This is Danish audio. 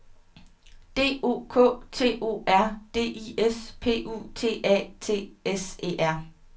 D O K T O R D I S P U T A T S E R